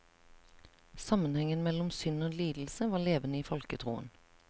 Sammenhengen mellom synd og lidelse var levende i folketroen.